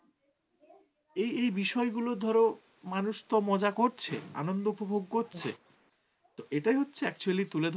এই এই বিষয়গুলো ধরো মানুষ তো মজা করছে৷ আনন্দ উপভোগ করছে। তো এটাই হচ্ছে actually তুলে ধরা